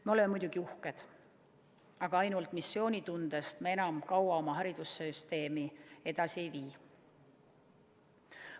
Me oleme muidugi uhked, aga ainult missioonitundest enam kaua oma haridussüsteemi edasi ei vii.